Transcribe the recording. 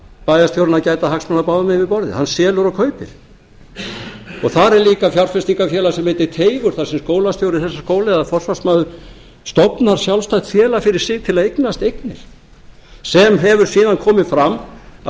bæjarstjórinn að gæta hagsmuna báðum megin við borðið hann selur og kaupir þar er líka fjárfestingarfélag sem heitir teigur þar sem skólastjóri þessa skóla eða forsvarsmaður stofnar sjálfstætt félag fyrir sig til þess að eignast eignir sem hefur síðan komið fram að